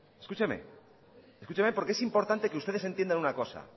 escúcheme escúcheme porque es importante que ustedes entiendan una cosa